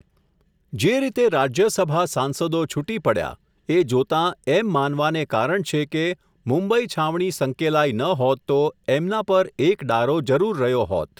જે રીતે રાજ્યસભા સાંસદો છુટી પડ્યા, એ જોતાં એમ માનવાને કારણ છે કે, મુંબઈ છાવણી સંકેલાઈ ન હોત તો, એમના પર એક ડારો જરૂર રહ્યો હોત.